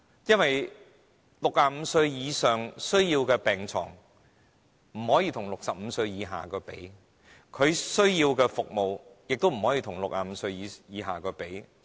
因為65歲以上人士需要的病床不可與65歲以下人士相比，他們需要的服務亦不可以與65歲以下人士相比。